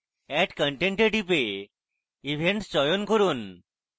add content এ টিপে events চয়ন করুন